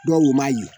Dɔw ma yi